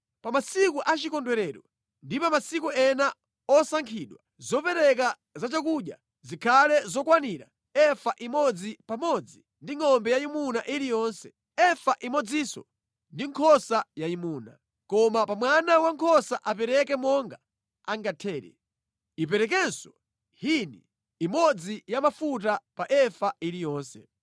“Pa masiku achikondwerero ndi pa masiku ena osankhidwa, zopereka za chakudya zikhale zokwanira efa imodzi pamodzi ndi ngʼombe yayimuna iliyonse, efa imodzinso ndi nkhosa yayimuna, koma pa mwana wankhosa apereke monga angathere. Iperekenso hini imodzi ya mafuta pa efa iliyonse.